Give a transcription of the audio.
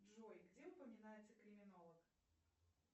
джой где упоминается криминолог